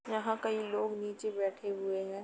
यहाँ कई लोग नीचे बैठे हुए हैं।